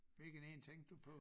Hvilken en tænkte du på?